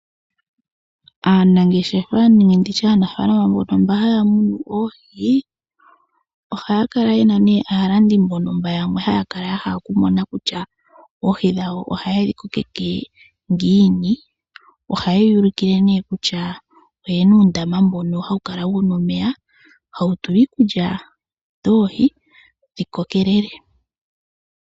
Aanangeshefa nenge ndi tye aanafaalama mbono haya munu oohi, ohaya kala ye na nee aalandi mbono yamwe haya kala ya hala okumona kutya oohi dhawo ohaye dhi kokeke ngiini. Ohaye ya ulukile nee kutya oye na uundama mbono hawu kala wu na omeya hawu tulwa iikulya yoohi dhi kokekele.